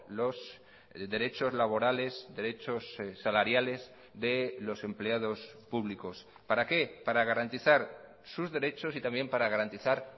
los derechos laborales derechos salariales de los empleados públicos para qué para garantizar sus derechos y también para garantizar